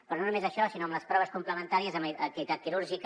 però no només això sinó amb les proves complementàries en l’activitat quirúrgica